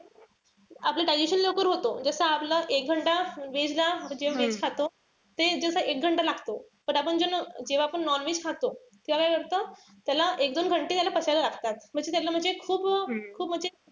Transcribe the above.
आपलं digestion लवकर होतो. जस आपल्याला एक veg ला म्हणजे veg खातो. ते जस एक लागतो. तर आपण ज जेव्हा आपण non-veg खातो तेव्हा काय करत त्याला एक दोन त्याला पचायला लागतात. म्हणजे त्याला खूप खूप म्हणजे,